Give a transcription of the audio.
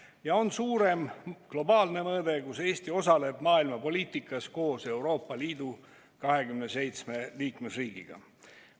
Ja on suurem, globaalne mõõde: Eesti osaleb maailmapoliitikas Euroopa Liidu 27 liikmesriigi seas.